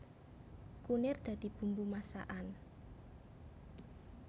Kunir dadi bumbu masakan